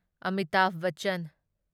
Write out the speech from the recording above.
Amitabh Bachchan